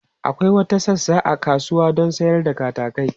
Akwai wata sassa a kasuwa don sayar da katakai.